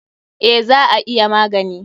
Eh, za a iya magani.